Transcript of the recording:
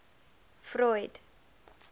freud